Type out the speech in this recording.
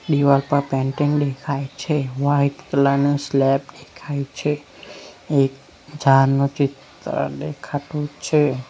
દિવાલ પર પેન્ટિંગ દેખાય છે વાઈટ કલર નો સ્લેબ દેખાય છે એક ચાનું ચિત્ર દેખાતું છે.